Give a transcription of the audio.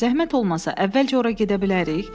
Zəhmət olmasa əvvəlcə ora gedə bilərik?”